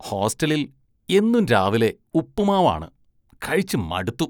ഹോസ്റ്റലില്‍ എന്നും രാവിലെ ഉപ്പുമാവ് ആണ്, കഴിച്ച് മടുത്തു.